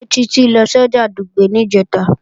Ṣé Títí lọ sọ́jà Dùgbẹ̀ níjẹ̀ta?